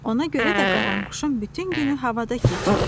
Ona görə də qaranquşun bütün günü havada keçir.